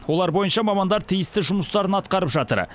олар бойынша мамандар тиісті жұмыстарын атқарып жатыр